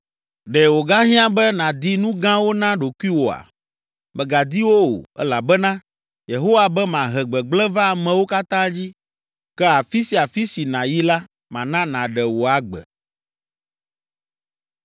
Ɖe wògahiã be nàdi nu gãwo na ɖokuiwòa? Mègadi wo o, elabena Yehowa be mahe gbegblẽ va amewo katã dzi, ke afi sia afi si nàyi la mana nàɖe wò agbe.’ ”